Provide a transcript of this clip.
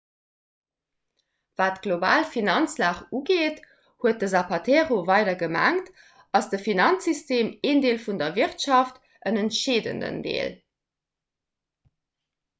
wat d'global finanzlag ugeet huet den zapatero weider gemengt ass de finanzsystem een deel vun der wirtschaft en entscheedenden deel